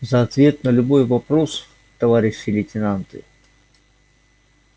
за ответ на любой вопрос товарищи лейтенанты